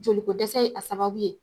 Jolikɔ dɛsɛ ye a sababu ye